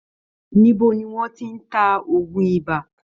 Níbo niwọ́n ti ń ta òògun iba?